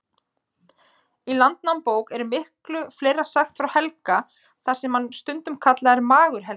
Í Landnámabók er miklu fleira sagt frá Helga, þar sem hann er stundum kallaður Magur-Helgi.